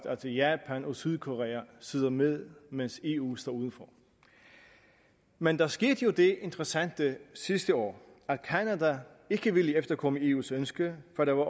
at japan og sydkorea sidder med mens eu står udenfor men der skete jo det interessante sidste år at canada ikke ville efterkomme eus ønske før der var